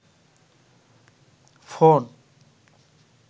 phone